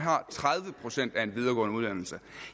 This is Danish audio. tredive procent med en videregående uddannelse